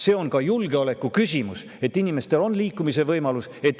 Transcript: See on julgeoleku küsimus, et inimestel on liikumise võimalus.